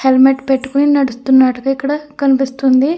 Helmet పెట్టుకుని నడుస్తున్నట్టుగా ఇక్కడ కనిపిస్తుంది.